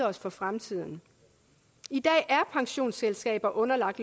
os for fremtiden i dag er pensionsselskaber underlagt